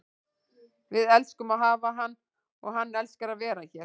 Við elskum að hafa hann og hann elskar að vera hér.